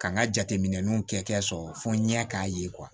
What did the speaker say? Ka n ka jateminɛw kɛ sɔrɔ fo n ɲɛ k'a ye